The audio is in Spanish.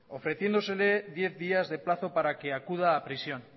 ofreciéndosele diez días de plazo para que acuda a prisión